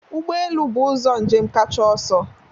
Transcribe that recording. Ụgbọ elu bụ ụzọ njem kacha ọsọ